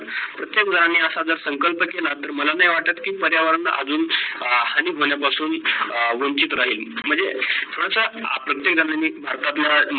प्रत्येक जणाने अस संकल्प केल तर माला नाही वाटत की पर्यावरण अजून हानी होण्यापासून वंचित राहील. म्हणजे थोडस प्रत्येक जणाने भारतातील